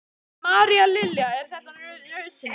María Lilja: Er þetta nauðsynlegt?